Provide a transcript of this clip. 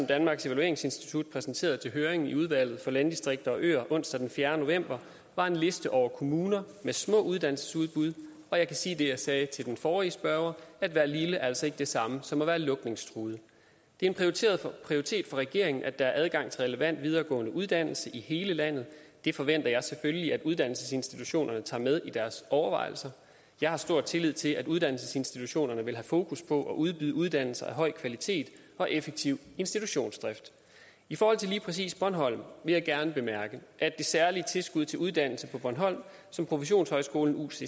danmarks evalueringsinstitut præsenterede til høringen i udvalget for landdistrikter og øer onsdag den fjerde november var en liste over kommuner med små uddannelsesudbud og jeg kan sige det også sagde til den forrige spørger at være lille er altså ikke det samme som at være lukningstruet det er en prioritet for regeringen at der er adgang til relevant videregående uddannelse i hele landet det forventer jeg selvfølgelig at uddannelsesinstitutionerne tager med i deres overvejelser jeg har stor tillid til at uddannelsesinstitutionerne vil have fokus på at udbyde uddannelser af høj kvalitet og effektiv institutionsdrift i forhold til lige præcis bornholm vil jeg gerne bemærke at det særlige tilskud til uddannelse på bornholm som professionshøjskolen ucc